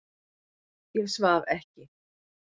Ég svaf ekki.